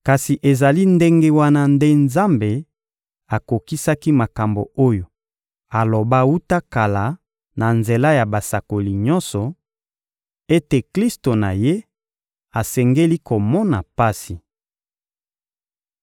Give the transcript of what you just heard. Kasi ezali ndenge wana nde Nzambe akokisaki makambo oyo aloba wuta kala na nzela ya basakoli nyonso, ete Klisto na Ye asengeli komona pasi.